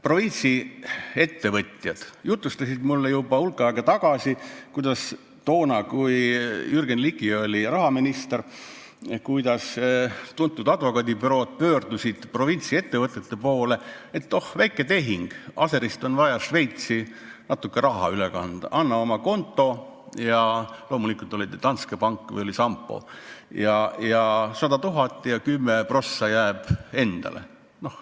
Provintsiettevõtjad jutustasid mulle juba hulk aega tagasi, kuidas toona, kui Jürgen Ligi oli rahaminister, pöördusid tuntud advokaadibürood provintsiettevõtjate poole, et oh, väike tehing, Aserist on vaja Šveitsi natuke raha üle kanda, anna oma konto – loomulikult oli see Danske pank või Sampo –, 100 000 ja 10 prossa jääb endale.